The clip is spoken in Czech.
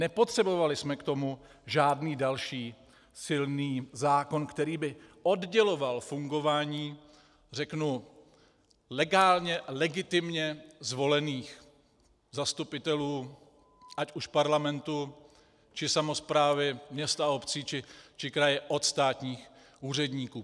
Nepotřebovali jsme k tomu žádný další silný zákon, který by odděloval fungování, řeknu, legálně, legitimně zvolených zastupitelů, ať už Parlamentu, či samosprávy měst a obcí, či kraje od státních úředníků.